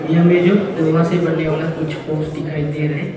ये में जो लोहा से बनने वाला कुछ पोस दिखाई दे रहा है।